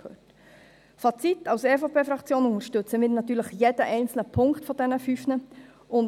Zum Fazit: Als EVP-Fraktion unterstützen wir natürlich jeden einzelnen dieser fünf Punkte.